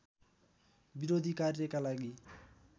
विरोधी कार्यका लागि